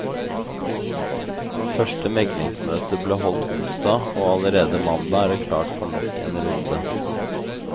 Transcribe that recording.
Første meglingsmøte ble holdt onsdag, og allerede mandag er det klart for nok en runde.